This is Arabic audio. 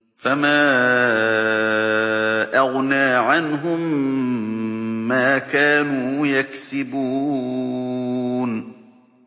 فَمَا أَغْنَىٰ عَنْهُم مَّا كَانُوا يَكْسِبُونَ